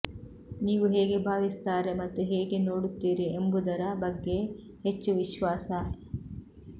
ನೀವು ಹೇಗೆ ಭಾವಿಸುತ್ತಾರೆ ಮತ್ತು ಹೇಗೆ ನೋಡುತ್ತೀರಿ ಎಂಬುದರ ಬಗ್ಗೆ ಹೆಚ್ಚು ವಿಶ್ವಾಸ